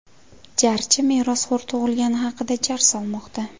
Jarchi merosxo‘r tug‘ilgani haqida jar solmoqda.